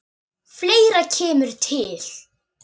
Fleira kemur til.